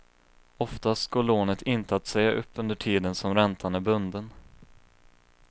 Oftast går lånet inte att säga upp under tiden som räntan är bunden.